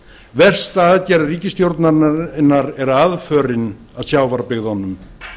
versta aðgerð ríkisstjórnarinnar er aðförin að sjávarbyggðunum